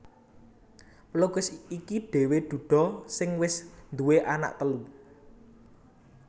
Pelukis iki dhéwé duda sing wis nduwé anak telu